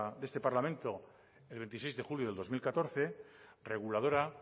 de este parlamento el veintiséis de julio del dos mil catorce reguladora